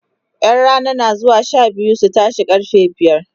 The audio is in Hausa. ƴan Rana na zuwa Sha biyu su tashe karfe biyar